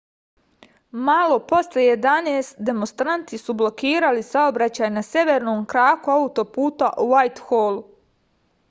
malo posle 11:00 demonstranti su blokirali saobraćaj na severnom kraku autoputa u vajtholu